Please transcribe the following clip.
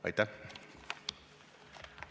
Aitäh!